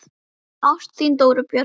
Ást, þín Dóra Björt.